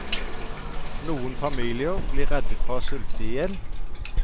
Noen familier blir reddet fra å sulte i hjel.